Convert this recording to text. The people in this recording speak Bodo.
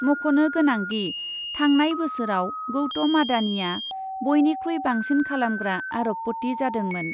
मख'नो गोनांदि , थांनाय बोसोराव गौतम आडानिआ बयनिख्रुइ बांसिन खालामग्रा आरबपति जादोंमोन ।